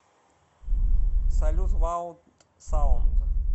салют лауд саунд